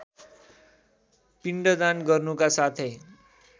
पिण्डदान गर्नुका साथै